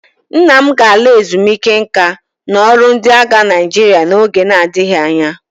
Nna m ga-ala ezumike nka n'ọrụ ndị agha Naịjirịa n'oge na-adịghị anya